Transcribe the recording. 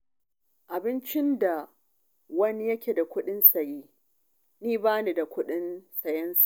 Abincin da wani yake da kuɗin siya, ni ba ni da kuɗin sayensa.